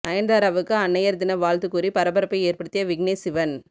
நயன்தாராவுக்கு அன்னையர் தின வாழ்த்து கூறி பரபரப்பை ஏற்படுத்திய விக்னேஷ் சிவன்